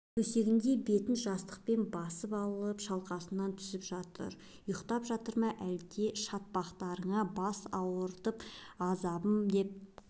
төсегінде бетін жастықпен басып алып шалқасынан түсіп жатыр ұйықтап жатыр ма әлде шатпақтарыңа бас ауыртып азабым деп